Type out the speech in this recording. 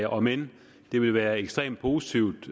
om end det ville være ekstremt positivt